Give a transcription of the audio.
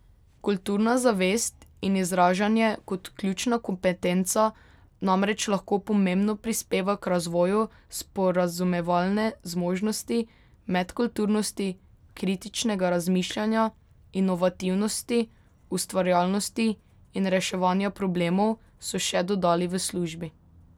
Kulturna zavest in izražanje kot ključna kompetenca namreč lahko pomembno prispeva k razvoju sporazumevalne zmožnosti, medkulturnosti, kritičnega razmišljanja, inovativnosti, ustvarjalnosti in reševanja problemov, so še dodali v službi.